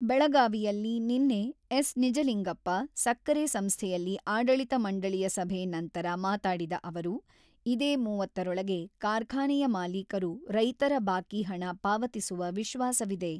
ಬೆಳಗಾವಿಯಲ್ಲಿ ನಿನ್ನೆ ಎಸ್ ನಿಜಲಿಂಗಪ್ಪ ಸಕ್ಕರೆ ಸಂಸ್ಥೆಯಲ್ಲಿ ಆಡಳಿತ ಮಂಡಳಿಯ ಸಭೆ ನಂತರ ಮಾತಾಡಿದ ಅವರು, ಇದೇ ಮೂವತ್ತರೊಳಗೆ ಕಾರ್ಖಾನೆಯ ಮಾಲೀಕರು ರೈತರ ಬಾಕಿಹಣ ಪಾವತಿಸುವ ವಿಶ್ವಾಸವಿದೆ.